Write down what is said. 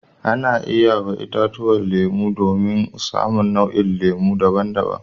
Ana iya yi wa itatuwan lemu aure domin a samu nau'in lemu biyu daban-daban.